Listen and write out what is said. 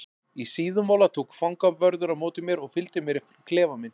Í Síðumúla tók fangavörður á móti mér og fylgdi mér í klefa minn.